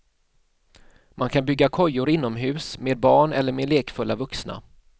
Man kan bygga kojor inomhus med barn eller med lekfulla vuxna.